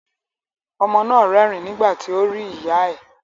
Ọmọ náà rẹ́rìn nígbà tí ó rí ìyá ẹ̀.